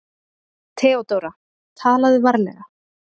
THEODÓRA: Talaðu varlega.